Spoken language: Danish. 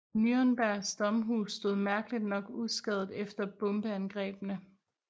Nürnbergs domhus stod mærkeligt nok uskadet efter bombeangrebene